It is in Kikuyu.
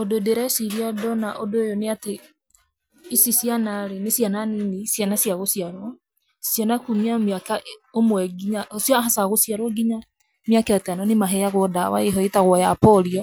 Ũndũ ndĩreciria ndona undũ ũyũ nĩ atĩ, ici nĩ ciana rĩ, nĩ ciana nini, ciana cia gũciarwo. Ciana kuumia mĩaka ũmwe nginya cia aca gũciarwo nginya mĩaka ĩtano nĩ maheagwo ndawa ĩho ĩtagwo ya Polio.